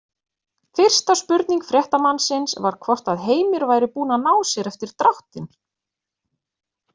Fyrsta spurning fréttamannsins var hvort að Heimir væri búinn að ná sér eftir dráttinn?